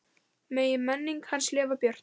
Megi minning hans lifa björt.